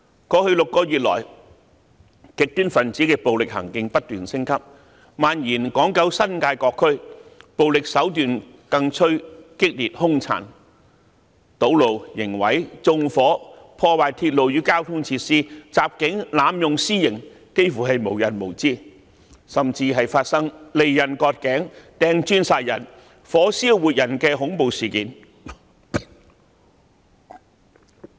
過去6個月來，極端分子的暴力行徑不斷升級，蔓延至港九新界各區，暴力手段更趨激烈兇殘，堵路、刑事毀壞、縱火、破壞鐵路與交通設施、襲警、濫用私刑幾乎是無日無之，甚至發生利刃割頸、擲磚殺人、火燒活人的恐怖事件。